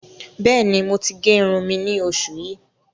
Bẹ́ẹ̀ni, mo ti gé irùn mi ní oṣù yìí.